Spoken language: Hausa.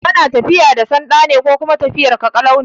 Kana tafiya da sanda ne ko kuma lafiyarka ƙalau?